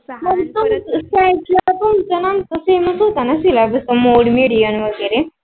पण पण तुमचा आणि आमचा same च होता ना syllabus वगैरे.